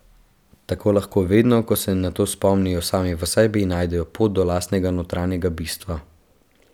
Tako lahko vedno, ko se na to spomnijo, sami v sebi najdejo pot do lastnega notranjega bistva.